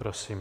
Prosím.